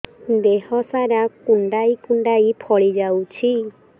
ଦେହ ସାରା କୁଣ୍ଡାଇ କୁଣ୍ଡାଇ ଫଳି ଯାଉଛି